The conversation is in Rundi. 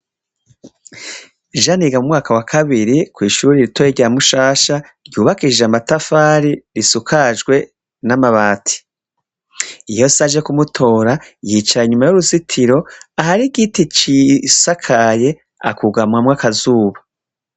Jane yiga mu mwaka wa kabiri kw'ishure ritoya rya Mushasha, ryubakishijwe amatafari , risakajwe n'amabati. Iyo se aje kumutora, yicara inyuma y'uruzitiro ahar'igiti cisakaye akugamamwo akazuba.